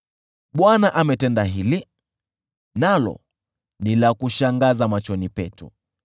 Bwana ametenda hili, nalo ni la kushangaza machoni petu.